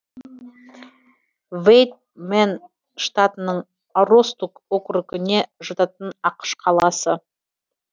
вэйд мэн штатының аростук округіне жататын ақш қаласы